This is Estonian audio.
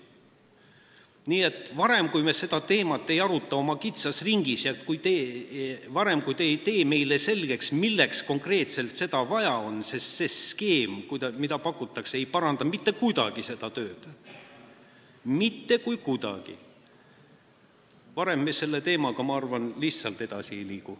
Nii et enne, kui me seda teemat ei aruta oma kitsas ringis, ja enne, kui te ei tee meile selgeks, milleks konkreetselt seda vaja on – sest see skeem, mida pakutakse, ei paranda mitte kuidagi seda tööd, mitte kuidagi –, me selle teemaga, ma arvan, lihtsalt edasi ei liigu.